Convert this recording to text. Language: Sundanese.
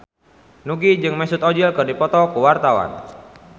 Nugie jeung Mesut Ozil keur dipoto ku wartawan